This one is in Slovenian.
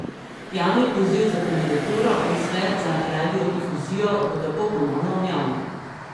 Javni poziv za kandidaturo v svet za radiodifuzijo bo tako ponovno objavljen.